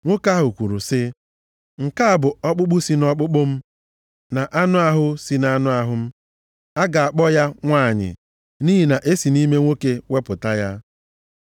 Nwoke ahụ kwuru sị, “Nke a bụ ọkpụkpụ si nʼọkpụkpụ m, na anụ ahụ si nʼahụ m, a ga-akpọ ya ‘nwanyị,’ nʼihi na e si nʼime nwoke wepụta ya.”